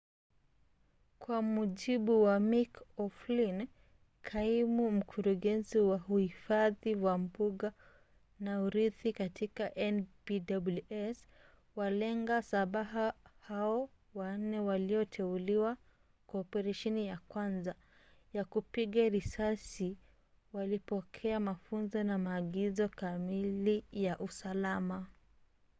kwa mujibu wa mick o'flynn kaimu mkurugenzi wa uhifadhi wa mbuga na urithi katika npws walenga shabaha hao wanne walioteuliwa kwa operesheni ya kwanza ya upigaji risasi walipokea mafunzo na maagizo kamili ya usalama